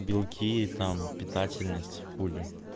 белки там питательность хули